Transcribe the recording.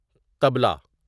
طبلہ